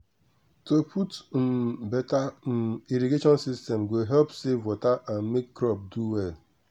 to put um beta um irrigation system go help save water and make crop do well